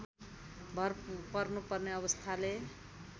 भर पर्नुपर्ने अवस्थाले